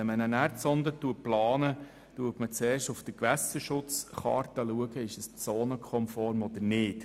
Wenn man eine Erdsonde plant, schaut man zuerst auf der Gewässerschutzkarte, ob dies zonenkonform ist oder nicht.